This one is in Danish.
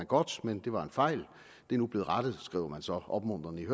godt men det var en fejl det er nu blevet rettet skriver man så opmuntrende i